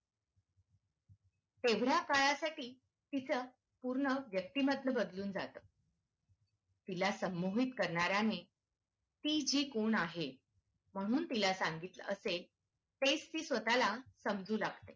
एवढ्या काळासाठी तीच पूर्ण व्यक्तिमत्व बदलून जात तिला संमोहित करण्याने ती ती जी कोण आहे म्हणून तिला सांगितलं असेल तेच ती स्वतः ला समजू लागते.